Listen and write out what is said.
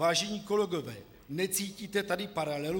Vážení kolegové, necítíte tady paralelu?